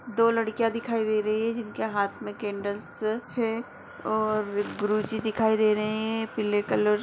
दो लड़कियां दिखाई दे रही हैं जिनके हाथ में केन्डलस हैं और गुरूजी दिखाई दे रहे हैं पीले कलर --